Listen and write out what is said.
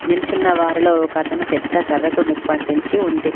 నిల్చున్న వారిలో ఒకతను పెద్ద కర్రకు నిప్పట్టించి ఉంది.